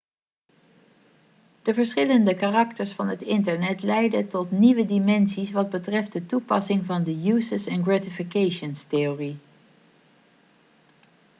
de verschillende karakters van het internet leiden tot nieuwe dimensies wat betreft de toepassing van de uses & gratifications-theorie